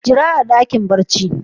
Jira a dakin barci.